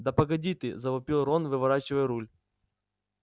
да погоди ты завопил рон выворачивая руль